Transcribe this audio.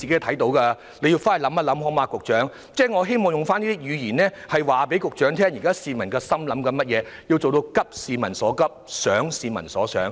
請局長日後仔細考慮，我希望告訴局長現在市民的心聲，讓他做到"急市民所急，想市民所想"。